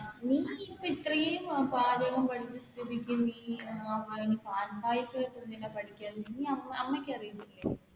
നീ ഇത്രയും പാചകം പഠിച്ച സ്ഥിതിക്ക് നീ